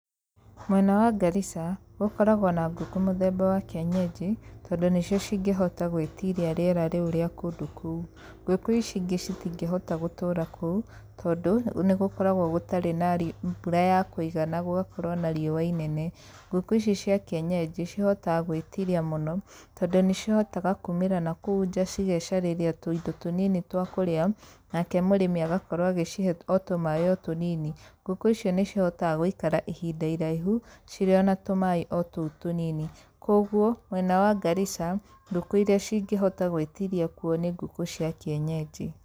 Mwena wa Garissa gũkoragwo na ngũkũ mũthemba wa kĩenyenji tondũ nĩcio cingĩhota gwĩtiria rĩera rĩu rĩa kũndũ kũu. Ngũkũ ici ingĩ citingĩhota gũtũũra kũu tondũ nĩ gũkoragwo gũtarĩ na mbura ya kũigana, gũgakorwo na rĩũa inene. Ngũkũ ici cia kĩenyenji cihotaga gwĩtiria mũno tondũ nĩ cihotaga kũmĩra na kũu nja cigecarĩria tũindo tũnini twa kũrĩa nake mũrĩmi agakorwo agĩcihe o tũmaĩ o tũnini. Ngũkũ icio nĩ cihotaga gũikara ihinda iraihu cirĩ ona tũmaĩ tũu tũnini. Koguo mwega wa Garissa, ngũkũ irĩa cingĩhota gwĩtiria kũo nĩ ngũkũ cia kĩenyenji.